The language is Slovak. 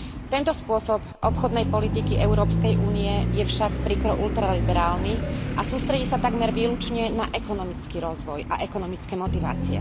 Tento spôsob obchodnej politiky Európskej únie je však príkro ultraliberálny a sústredí sa takmer výlučne na ekonomický rozvoj a ekonomické motivácie.